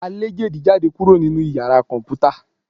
à lẹ dejí jadé kuro ninú ìyára Kọǹpútà